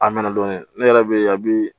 A mɛna dɔɔnin ne yɛrɛ bɛ yen a bɛ